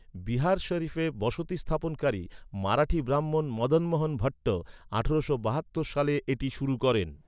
বিহার শরিফে বসতি স্থাপনকারী, মারাঠি ব্রাহ্মণ মদন মোহন ভট্ট, আঠারোশো বাহাত্তর সালে এটি শুরু করেন।